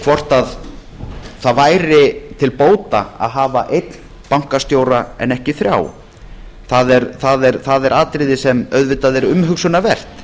hvort það væri til bóta að hafa einn bankastjóra en ekki þrjá það er atriði sem auðvitað er umhugsunarvert